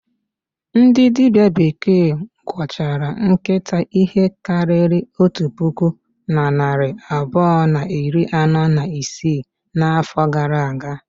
Ndị dibịa bekee gwọchara nkịta ihe karịrị otu puku na narị abụọ na iri anọ na isii n'afọ gara aga.